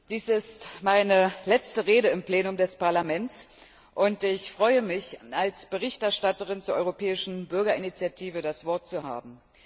Dies ist meine letzte Rede im Plenum des Europäischen Parlaments, und ich freue mich, als Berichterstatterin zur europäischen Bürgerinitiative das Wort zu haben.